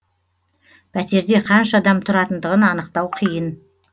пәтерде қанша адам тұратындығын анықтау қиын